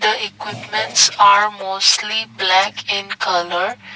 the equipments are mostly black in colour.